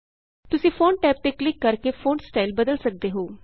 ਤੁਸੀਂ font tab ਤੇ click ਕਰਕੇ ਫੋਂਟ ਸਟਾਈਲ ਬਦਲ ਸਕਦੇ ਹੋ